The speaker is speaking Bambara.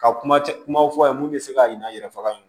Ka kuma cɛ kumaw fɔ a ye mun bɛ se ka ɲina an yɛrɛ faga